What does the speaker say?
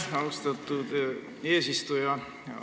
Aitäh, austatud eesistuja!